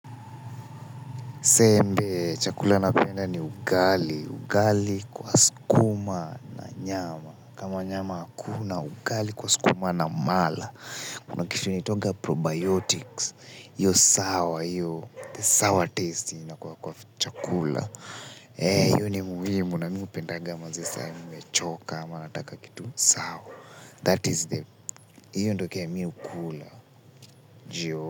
Sembe, chakula napenda ni ugali, ugali kwa sukuma na nyama. Kama nyama hakuna ugali kwa sukuma na mala. Kitu inaitwanga probiotics, hiyo sawa, hiyo, the sour taste yenye inakuwa kwa chakula. Eh, hiyo ni muhimu, na mimi upendaga manze saa mimi nimechoka ama nataka kitu sawa. That is the, hiyo ndo kenye mimi hukula,